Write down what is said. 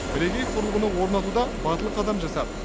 бірегей құрылғыны орнатуда батыл қадам жасады